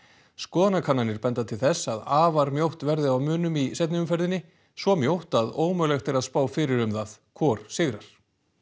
skoðanakannanir benda til þess að afar mjótt verði á munum í seinni umferðinni svo mjótt að ómögulegt er að spá fyrir um það hvor sigrar